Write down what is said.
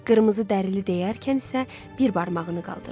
Qırmızı dərili deyərkən isə bir barmağını qaldırdı.